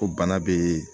Ko bana be